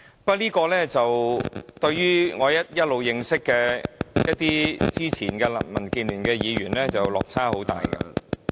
不過，這點對於我一直認識的一些前民建聯議員落差很大......